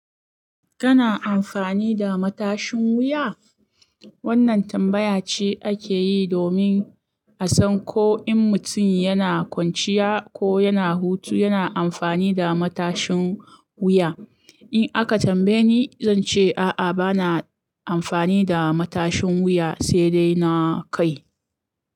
Kana amfani da matashin wuya? Wannan tambaya ce ake yi domin a san ko in mutum yana kwanciya ko yana hutu, yana amfani da matashin wuya. In aka tambaye ni, zan ce a'a, ba na amfani da matashin wuya, sai dai na kai.